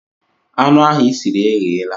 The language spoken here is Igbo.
Anụ ahụ i siri egheela.